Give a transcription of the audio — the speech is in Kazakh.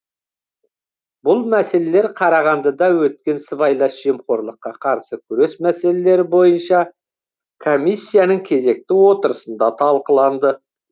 бұл мәселелер қарағандыда өткен сыбайлас жемқорлыққа қарсы күрес мәселелері бойынша комиссияның кезекті отырысында талқыланды